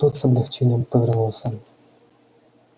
тот с облегчением повернулся